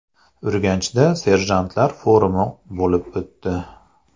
Urganchda serjantlar forumi bo‘lib o‘tdi.